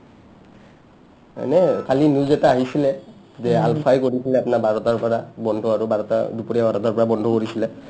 মানে কালি news এটা আহিছিলে যে আলফাই গধূলবেলা আপনাৰ বাৰটাৰ পৰা বন্ধ আৰু বাৰটা দুপৰীয়া বাৰটাৰ পৰা বন্ধ কৰিছিলে